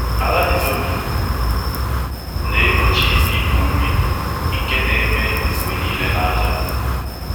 Ala di loamy na-egbochi ịpụpụ nri nke na-eme mgbe niile na ájá.